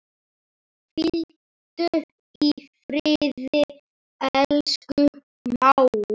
Hvíldu í friði, elsku mágur.